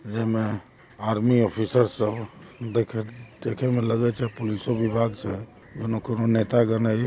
यह एक army officer से हु यह देखने में लग्गे छे पुलिस नो विभाग छे उनो कोनो नेता गन--